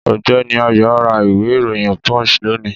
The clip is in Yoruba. Ọ̀gbẹ́ni AYO ra ìwé ìròyìn punch lónìí